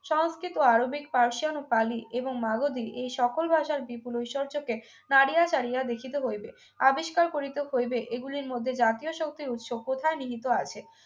সংস্কৃত Arabic ফারসিয়ান ও ইতালি এবং মাগধী এই সকল ভাষার বিপুল ঐশ্বর্যকে নারিয়া চাড়িয়া দেখিতে হইবে আবিষ্কার করিতে হইবে এগুলির মধ্যে জাতীয় শক্তির উৎস কোথায় নিহিত আছে